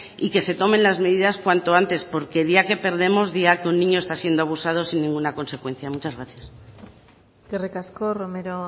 y que se tomen las medidas cuanto antes porque día que perdemos día que un niño está siendo abusado sin ninguna consecuencia muchas gracias eskerrik asko romero